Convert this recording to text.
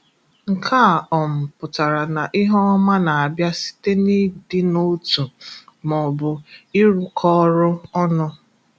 Nke a um pụtara na ihe ọma na-abịa site n'idinotu maọbụ ịrụkọ orụ ọnụ.